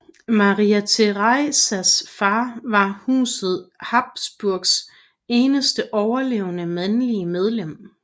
Maria Theresias far var Huset Habsburgs eneste overlevende mandlige medlem